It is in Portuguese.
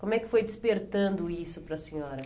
Como é que foi despertando isso para a senhora?